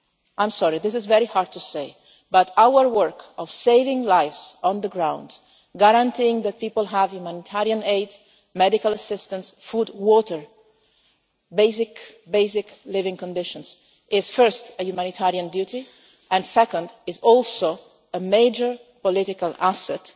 I am sorry, this is very hard to say, but our work of saving lives on the ground, guaranteeing that people have humanitarian aid, medical assistance, food, water basic, basic living conditions is first a humanitarian duty, and second it is also a major political asset,